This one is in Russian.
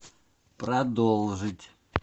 продолжить